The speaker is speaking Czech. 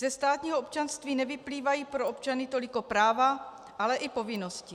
Ze státního občanství nevyplývají pro občany toliko práva, ale i povinnosti.